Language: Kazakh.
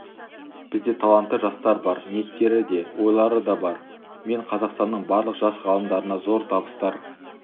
бізде талантты жастар бар ниеттері де ойлары да бар мен қазақстанның барлық жас ғалымдарына зор табыстар